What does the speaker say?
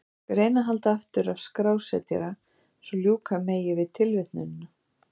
Ég skal reyna að halda aftur af skrásetjara svo ljúka megi við tilvitnunina.